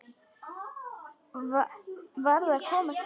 Varð að komast heim.